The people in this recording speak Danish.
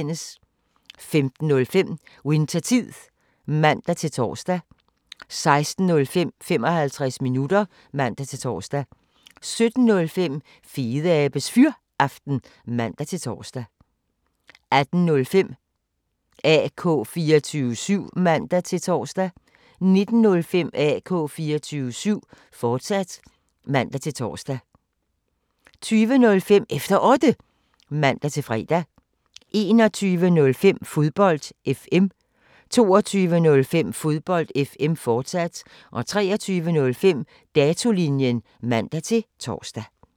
15:05: Winthertid (man-tor) 16:05: 55 minutter (man-tor) 17:05: Fedeabes Fyraften (man-tor) 18:05: AK 24syv (man-tor) 19:05: AK 24syv, fortsat (man-tor) 20:05: Efter Otte (man-fre) 21:05: Fodbold FM 22:05: Fodbold FM, fortsat 23:05: Datolinjen (man-tor)